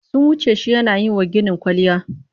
Sun wuce shi yana yi wa gini kwalliya.